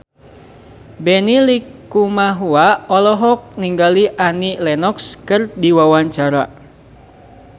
Benny Likumahua olohok ningali Annie Lenox keur diwawancara